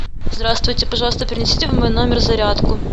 здравствуйте пожалуйста принесите в мой номер зарядку